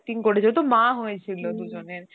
করেছিল তো মা হয়ছিল তো